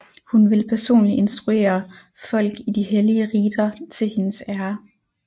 Hun ville personligt instruere folk i de hellige riter til hendes ære